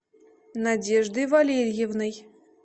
надеждой валерьевной